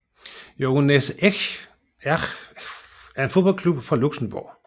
Jeunesse Esch er en fodboldklub fra Luxembourg